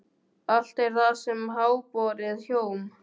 Allt er það sem háborið hjóm.